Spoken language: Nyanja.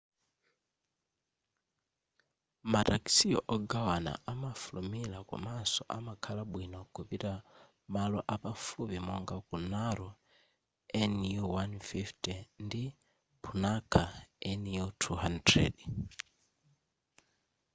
ma taxi ogawana amafulumila komanso amakhala bwino kupita malo apafupi monga ku naro nu150 ndi punakha nu 200